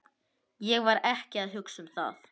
Ég var ekki að hugsa um það.